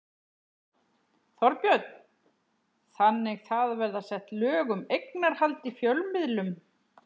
Þorbjörn: Þannig það verða sett lög um eignarhald á fjölmiðlum?